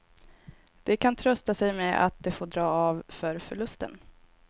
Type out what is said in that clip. De kan trösta sig med att de får dra av för förlusten.